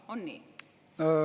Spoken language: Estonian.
On nii?